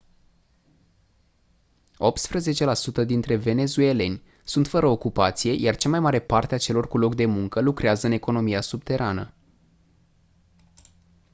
optsprezece la sută dintre venezueleni sunt fără ocupație iar cea mai mare parte a celor cu loc de muncă lucrează în economia subterană